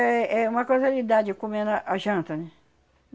É é uma casualidade comer na janta, né?